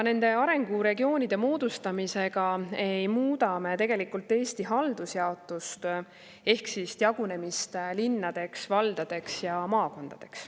Nende regioonide moodustamisega ei muuda me tegelikult Eesti haldusjaotust ehk siis jagunemist linnadeks, valdadeks ja maakondadeks.